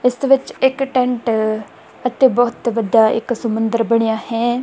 ਇਸ ਦੇ ਵਿੱਚ ਇੱਕ ਟੈਂਟ ਅਤੇ ਬਹੁਤ ਵੱਡਾ ਇੱਕ ਸਮੁੰਦਰ ਬਣਿਆ ਹੈ।